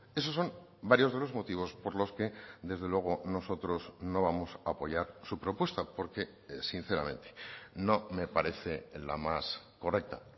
esos son varios de los motivos por los que desde luego nosotros no vamos a apoyar su propuesta porque sinceramente no me parece la más correcta